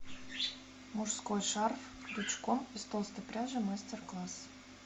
мужской шарф крючком из толстой пряжи мастер класс